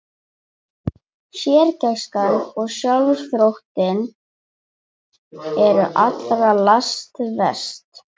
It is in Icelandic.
Sérgæskan og sjálfsþóttinn eru allra lasta verst.